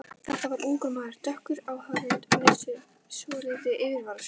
Þetta var ungur maður, dökkur á hörund með svolítið yfirvaraskegg.